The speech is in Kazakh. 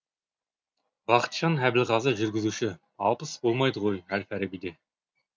бақытжан әбілғазы жүргізуші алпыс болмайды ғой әл фарабиде